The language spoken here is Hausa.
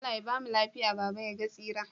Allah Ya bamu lafiya baba yaga tsirara?